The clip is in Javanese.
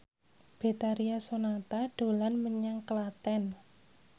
Betharia Sonata dolan menyang Klaten